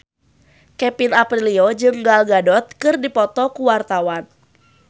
Kevin Aprilio jeung Gal Gadot keur dipoto ku wartawan